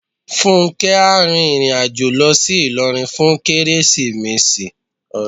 Fúnkẹ́ á rin ìrìn àjò lọ sí Ilorin fún Kérésìmesì.